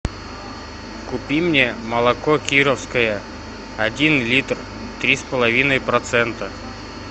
купи мне молоко кировское один литр три с половиной процента